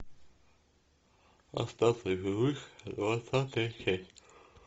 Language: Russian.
остаться в живых двадцатая серия